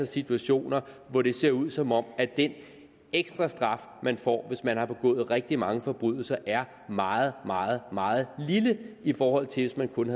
situationer hvor det ser ud som om den ekstra straf man får hvis man har begået rigtig mange forbrydelser er meget meget meget lille i forhold til hvis man kun